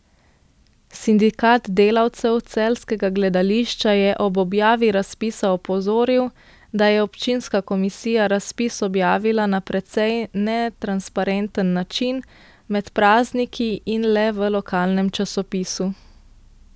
Sindikat delavcev celjskega gledališča je ob objavi razpisa opozoril, da je občinska komisija razpis objavila na precej netransparenten način, med prazniki in le v lokalnem časopisu.